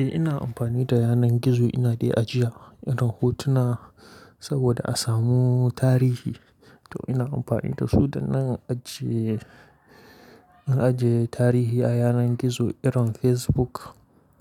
Eh ina amfani da yanar gizo ina dai ajiya irin hotuna saboda a samu tarihi to ina amfani da su da nan ajiye, ajiye tarihi a yanar gizo irin Facebook,